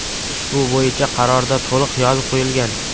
Ushbu bo‘yicha qarorda to‘liq yozib qo‘yilgan.